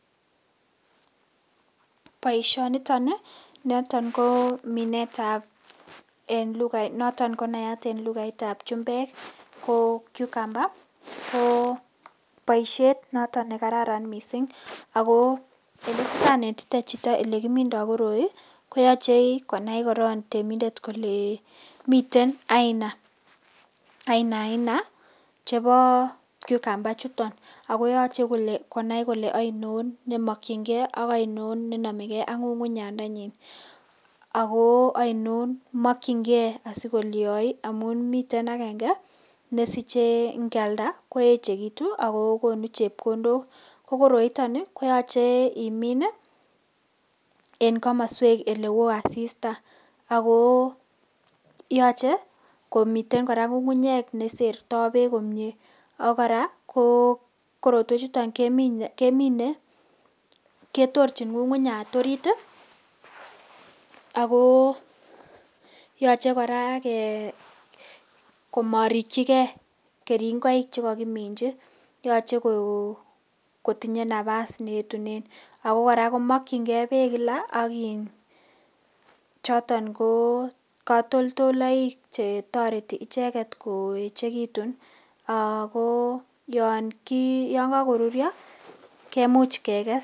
Baishoniton noton ko noton ko nayat en kainet ab chumbek quecumber ko baishet noton nekararan mising ako yelekanetite Chito yekimindo koroi ko yache korong konai temindet miten Aina Aina chebo quecumber chuton akoyache konai Kole ainon nemakinigei akainon nenamegei ak ngungunyat ndanyin akoainon akomakingei Yai amun miten agenge mesiche ngialda koechekitun akokonu chepkondok koroiton koyache imin en kamaswek en oleon asista akoyache koraa komiten ngungunyat neserta bek komie akoraa korotwek chuton kemine ketorchin ngungunyat orit akoyache koraa komarikigei keringoi chemakiminji akoyache kotinye nabas neyetunen akokoraa komakingei bek kila ak kila choton ko katoldolaik chetareti icheket koechekitun ako yangagorurio kemuch kekes.